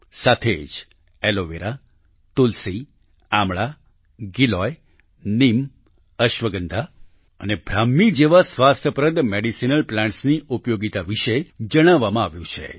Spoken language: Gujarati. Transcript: સાથે જ એલોવેરા તુલસી આમળાં ગિલોય નીમ અશ્વગંધા અને બ્રાહ્મી જેવા સ્વાસ્થ્યપ્રદ મેડિસિનલ Plantની ઉપયોગીતા વિશે જણાવવામાં આવ્યું છે